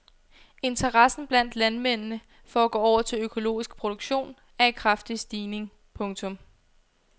Interessen blandt landmændene for at gå over til økologisk produktion er i kraftig stigning. punktum